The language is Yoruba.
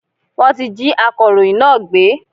Wọn tí jí akọ̀rọ̀yìn náà gbé.